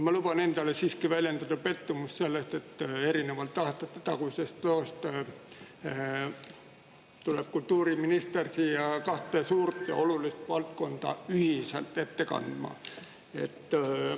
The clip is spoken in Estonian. Ma luban endale siiski väljendada pettumust selles, et erinevalt aastatetagusest tuleb kultuuriminister siia kahte suurt ja olulist valdkonda ühiselt ette kandma.